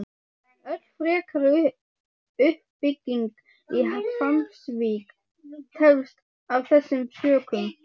Öll frekari uppbygging í Hvammsvík tefst af þessum sökum.